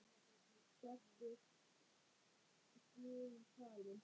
Sértu guði falin.